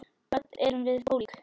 Öll erum við ólík.